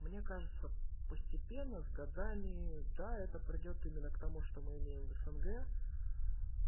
мне кажется постепенно с годами да это придёт именно к тому что мы имеем в снг